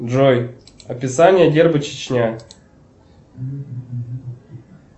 джой описание герба чечня